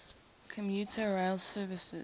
commuter rail services